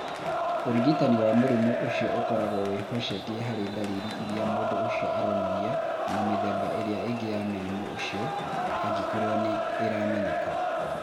Ũrigitani wa mũrimũ ũcio ũkoragwo wĩhocetie harĩ ndariri iria mũndũ ũcio aronania na mĩthemba ĩrĩa ĩngĩ ya mũrimũ ũcio (angĩkorũo nĩ ĩramenyeka).